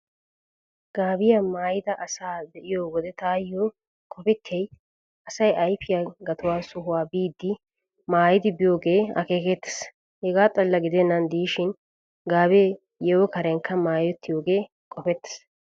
Gaabiyaa maayida asaa be'iyo wode taayo qopettiyay asay ayfiyaa gatuwaa sohuwaa biiddi maayidi biyoogee akeekettees. Hegaa xalla gidennan diishin gaabe yeeho karenkka maayettiyoogee qopettees.